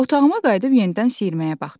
Otağıma qayıdıb yenidən siyirməyə baxdım.